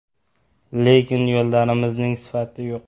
Lekin yo‘llarimizning sifati yo‘q.